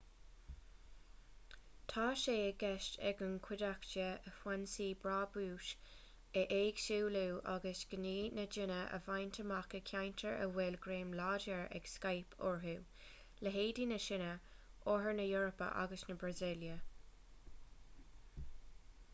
tá sé i gceist ag an gcuideachta a foinsí brabúis a éagsúlú agus gnaoi na ndaoine a bhaint amach i gceantair a bhfuil greim láidir ag skype orthu leithéidí na síne oirthear na heorpa agus na brasaíle